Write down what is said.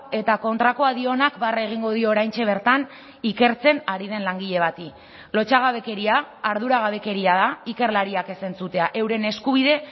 eta kontrakoa dionak barre egingo dio oraintxe bertan ikertzen ari den langile bati lotsagabekeria arduragabekeria da ikerlariak ez entzutea euren eskubide